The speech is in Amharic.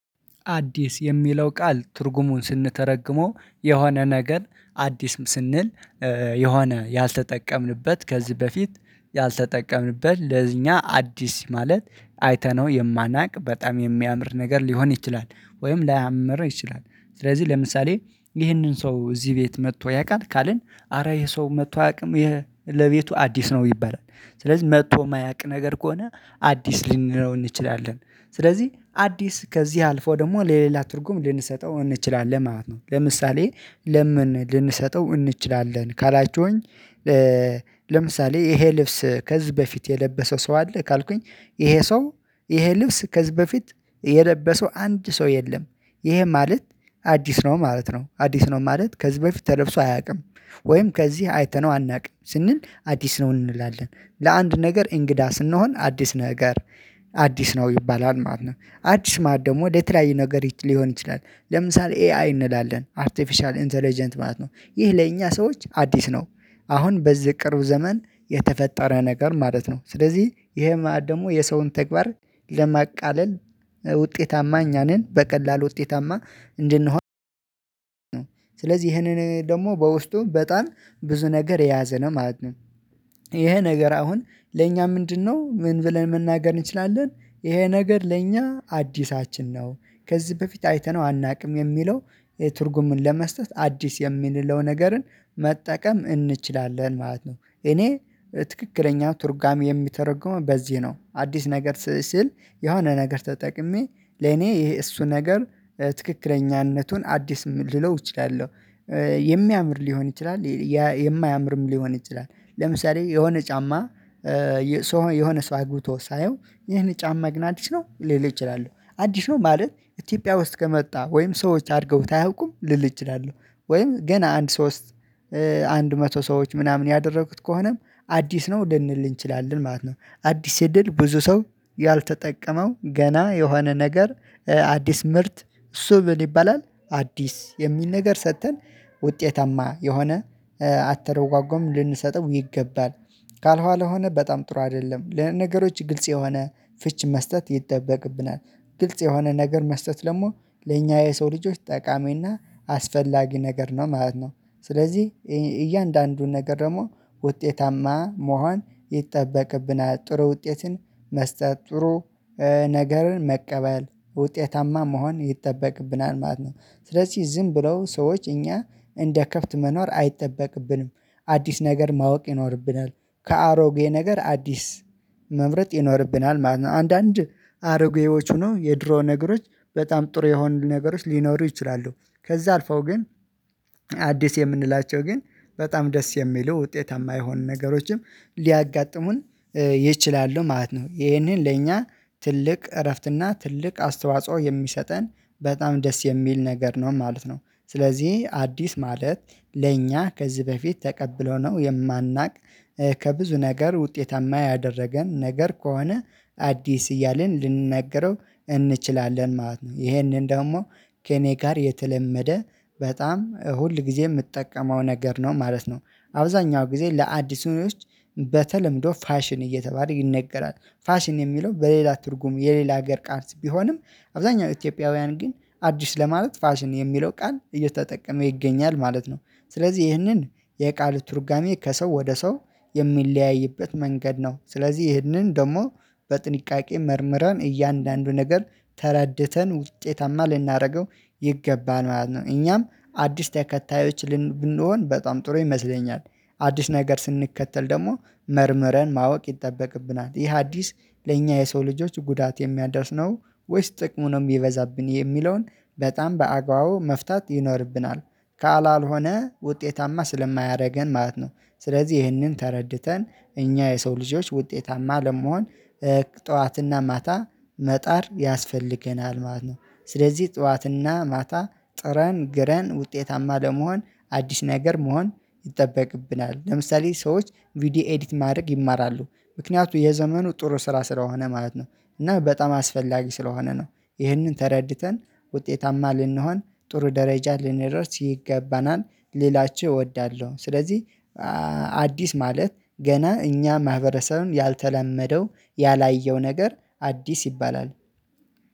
አዲስ የሚለው ቃል ትርጉሙን ስንተረጉመው የሆነ ነገር አዲስ ስንል የሆነ ያልተጠቀምንበት ከዚህ በፊት ያልተጠቀምንበት ለዚኛ አዲስ ማለት አይተነው የማናቅ በጣም የሚያምር ነገር ሊሆን ይችላል ወይም ላያምር ይችላል ስለዚህ ለምሳሌ ይህንን ሰው እዚህ ቤት መጥቶ ያውቃል ካልን አረ ይሄ ሰው መጥቶ አያውቅም ለቤቱ አዲስ ነው ይባላል። ስለዚህ መጥቶ የማያቅ ነገር ከሆነ አዲስ ልንለው እንችላለን ስለዚህ አዲስ ከዚህ አልፎ ደግሞ ለሌላ ትርጉም ልንሰጠው እንችላለን ማለት ነው። ለምሳሌ ለምን ልንሰጠው እንችላለን ካላችሁኝ? ለምሳሌ ይሄ ልብስ ከዚህ በፊት የለበሰው ሰው አለ ካልኩኝ ይሄ ሰው ይሄ ልብስ ከዚህ በፊት የለበሰው አንድ ሰው የለም። ይሄ ማለት አዲስ ነው ማለት ነው አዲስ ነው ማለት ከዚህ በፊት ተለብሶ አያውቅም። ወይም ከዚህ አይተነው አናውቅም ስንል አዲስ ነው እንላለን ለአንድ ነገር እንግዳ ስንሆን አዲስ ነገር አዲስ ነው ይባላል ማለት ነው። አዲስ ማዕድ ደግሞ ወደ ተለያዩ ነገር ሊሆን ይችላል ለምሳሌ ኤአይ እንላለን አርቲፊሻል ኢንተለጀንት ማለት ነው ይህ ለእኛ ሰዎች አዲስ ነው አሁን በዚህ ቅርብ ዘመን የተፈጠረ ነገር ማለት ነው። ስለዚህ ይሄ ማለት ደግሞ የሰውን ተግባር ለማቃለል ውጤታማ እኛ ነን በቀላሉ ውጤታማ እንድንሆን ነው ስለዚህ ይሄንን ደግሞ በውስጡ በጣም ብዙ ነገር የያዘ ነው ማለት ነው። ይሄ ነገር አሁን ለእኛ ምንድነው ምን ብለን መናገር እንችላለን? ይሄ ነገር ለኛ አዲሳችን ነው ከዚህ በፊት አይተነው አናውቅም የሚለው ትርጉምን ለመስጠት አዲስ የምንለው ነገርን መጠቀም እንችላለን ማለት ነው። እኔ ትክክለኛ ትርጉሜ የምተረጉመው በዚህ ነው አዲስ ነገር ሲል የሆነ ነገር ተጠቅሜ ለኔ ይሄ እሱ ነገር ትክክለኛነቱን አዲስ ልለው እችላለሁ። የሚያምር ሊሆን ይችላል የማያምርም ሊሆን ይችላል። ለምሳሌ የሆነ ጫማ የሆነ ሰው አግብቶ ሳየው ይህን ጫማ ግን አዲስ ነው ልል አችላለሁ አዲስ ነው ማለት ኢትዮጵያ ውስጥ ከመጣ ወይም ሰዎች አድርገውት አያውቁም ልል እችላለሁ ወይም ገና አንድ ሶስት አንድ መቶ ሰዎች ምናምን ያደረጉት ከሆነም አዲስ ነው ልንል እንችላለን ማለት ነው። አዲስ ስንል ብዙ ሰው ያልተጠቀመው ገና የሆነ ነገር አዲስ ምርት እሱ ምን ይባላል አዲስ የሚል ነገር ሰጥተን ውጤታማ የሆነ አተረጓጎም ልንሰጥም ይገባል። ካልሆነ ሆነ በጣም ጥሩ አይደለም ለነገሮች ግልጽ የሆነ ፍች መስጠት ይጠበቅብናል። ግልጽ የሆነ ነገር መስጠት ደግሞ ለኛ የሰው ልጆች ጠቃሚና አስፈላጊ ነገር ነው ማለት ነው። ስለዚህ እያንዳንዱን ነገር ደግሞ ውጤታማ መሆን ይጠበቅብናል ጥሩ ውጤትን መስጠት ጥሩ ነገርን መቀበል ውጤታማ መሆን ይጠበቅብናል ማለት ነው። ስለዚህ ዝም ብለው ሰዎች እኛ እንደ ከፍት መኖር አይጠበቅብንም አዲስ ነገር ማወቅ ይኖርብናል። ከአሮጌ ነገር አዲስ መምረጥ ይኖርብናል አንዳንድ አሮጌዎች ሆነው ነው የድሮ ነገሮች በጣም ጥሩ የሆኑ ነገሮች ሊኖሩ ይችላሉ። ከዛ አልፈው ግን አዲስ የምንላቸው ግን በጣም ደስ የሚሉ ውጤታማ የሆን ነገሮችም ሊያጋጥሙን ይችላሉ ማለት ነው። ይሄንን ለእኛ ትልቅ እረፍትና ትልቅ አስተዋጽኦ የሚሰጠን በጣም ደስ የሚል ነገር ነው ማለት ነው። ስለዚህ አዲስ ማለት ለእኛ ከዚህ በፊት ተቀብለነው ነው የማናውቅ ከብዙ ነገር ውጤታማ ያደረገን ነገር ከሆነ አዲስ እያልን ልንነግረው እንችላለን ማለት ነው። ይሄንን ደግሞ ከእኔ ጋር የተለመደ በጣም ሁል ጊዜ የምጠቀመው ነገር ነው ማለት ነው። አብዛኛው ጊዜ ለአዲሱ በተለምዶ ፋሽን እየተባለ ይነገራል ፋሽን የሚለው በሌላ ትርጉም የሌላ ሀገር ቃል ቢሆንም አብዛኛው ኢትዮጵያውያን ግን አዲስ ለማለት ፋሽን የሚለው ቃል እየተጠቀመ ይገኛል ማለት ነው። ስለዚህ ይህንን የቃል ትርጉሜ ከሰው ወደ ሰው የሚለያይበት መንገድ ነው ስለዚህ ይህንን ደግሞ በጥንቃቄ መርምረን እያንዳንዱ ነገር ተረድተን ውጤታማ ልናደርገው ይገባል ማለት እኛም አዲስ ተከታዮች ብንሆን በጣም ጥሩ ይመስለኛል። አዲስ ነገር ስንከተል ደግሞ መርምረን ማወቅ ይጠበቅብናል ይህ አዲስ ለእኛ የሰው ልጆች ጉዳት የሚያደርስ ነው ወይስ ጥቅሙ ነው የሚበዛብን የሚለውን በጣም በአግባቡ መፍታት ይኖርብናል? ካላልሆነ ውጤታማ ስለማያደርገን ማለት ነው። ስለዚህ ይህንን ተረድተን እኛ የሰው ልጆች ውጤታማ ለመሆን ጠዋትና ማታ መጣር ያስፈልገናል ማለት ነው። ስለዚህ ጠዋትና ማታ ጥረን ግረን ውጤታማ ለመሆን አዲስ ነገር መሆን ይጠበቅብናል ለምሳሌ ሰዎች ቪዲዮ ኤዲት ማድረግ ይማራሉ ምክንያቱም የዘመኑ ጥሩ ስራ ስለሆነ ማለት ነው። እና በጣም አስፈላጊ ስለሆነ ነው። ይህንን ተረድተን ውጤታማ ልንሆን ጥሩ ደረጃ ልንደርስ ይገባናል። ሌላችው እወዳለሁ ስለዚህ አዲስ ማለት ገና እኛ ማህበረሰብን ያልተላመደው ያላየው ነገር አዲስ ይባላል።